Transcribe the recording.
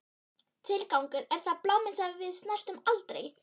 Tilgangur, er það bláminn sem við snertum aldrei?